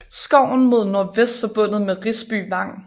Skoven er mod nordvest forbundet med Risby Vang